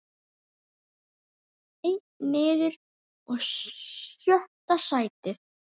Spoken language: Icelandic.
Einn niður og sjötta sætið.